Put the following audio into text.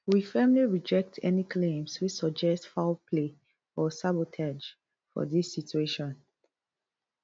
we firmly reject any claims wey suggest foul play or sabotage for dis situation